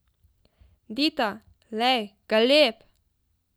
Dita, lej, galeb!